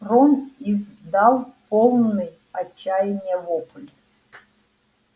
рон издал полный отчаяния вопль